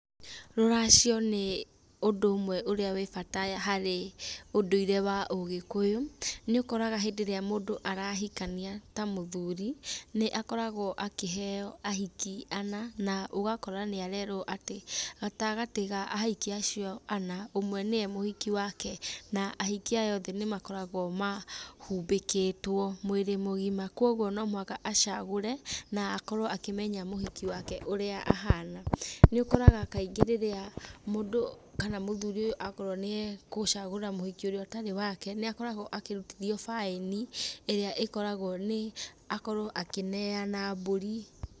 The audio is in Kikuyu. Rũracio nĩ ũndũ ũmwe ũrĩa wĩ bata harĩ ũndũire wa ũgikuyu. Nĩ ũkoraga hĩndĩ ĩrĩa mũndũ arahikania ta mũthuri nĩ akoragwo akĩheo ahiki ana na ũgakora nĩarerwo atĩ gatagatĩ ka ahiki acio ana, ũmwe nĩwe mũhiki wake na ahiki aya othe nĩ makoragwo mahumbĩkĩtwo mwĩrĩ mũgima kwoguo no mũhaka acagure na akorwo akĩmenya mũhiki wake ũrĩa ahana. Nĩ ũkoraga kaingĩ rĩrĩa mũndũ kana mũthuri ũyũ akorwo nĩ egũcagura mũhiki ũrĩa ũtarĩ wake nĩ akoragwo akĩrutithio baĩni ĩrĩa ĩkoragwo nĩ akorwo akĩneana mbũri.